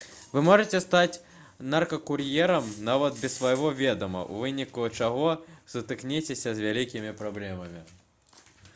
вы можаце стаць наркакур'ерам нават без свайго ведама у выніку чаго сутыкняцеся з вялікімі праблемамі